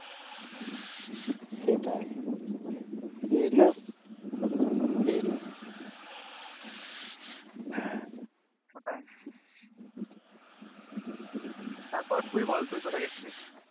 হ্যাঁ ওটাই তারপর তুই বল তুই কোথায় গেছিলিস?